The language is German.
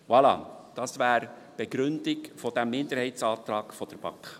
Voilà, das wäre die Begründung des Minderheitsantrags der BaK.